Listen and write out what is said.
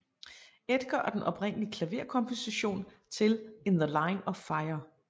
Edgar og den oprindelige klaverkomposition til In the Line of Fire